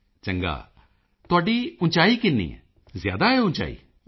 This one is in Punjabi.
ਮੋਦੀ ਜੀ ਚੰਗਾ ਤੁਹਾਡੀ ਉਚਾਈ ਕਿੰਨੀ ਹੈ ਜ਼ਿਆਦਾ ਹੈ ਉਚਾਈ